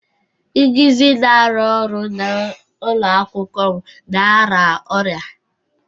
Ngizi na-arụ ọrụ n'ụlọ akwụkwọ m na-arịa ọrịa.